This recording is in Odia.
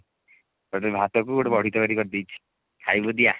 ସେଥିପାଇଁ ଭାତ କୁ ଗୋଟେ ବଡି ତରକାରୀ କରିଦେଇଛି ଖାଇବୁ ଯଦି ଆ